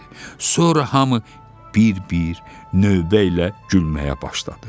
Sonra hamı bir-bir növbə ilə gülməyə başladı.